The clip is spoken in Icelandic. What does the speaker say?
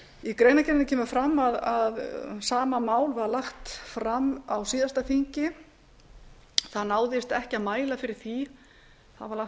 í greinargerðinni kemur fram að sama mál var lagt fram á síðasta þingi það var lagt fram